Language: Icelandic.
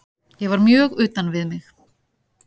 Ég var mjög utan við mig.